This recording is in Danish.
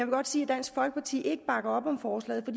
godt sige at dansk folkeparti ikke bakker op om forslaget